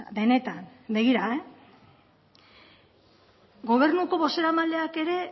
benetan gobernuko bozeramaileak ere